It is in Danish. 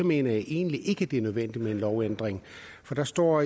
mener jeg egentlig ikke det er nødvendigt med en lovændring for der står